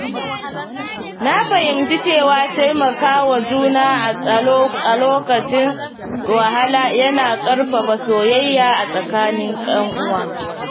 Na fahimci cewa taimakawa juna a lokacin wahala yana ƙarfafa soyayya a tsakanin ‘yan uwa.